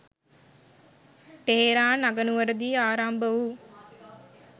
Tehran අගනුවර දී ආරම්භ වූ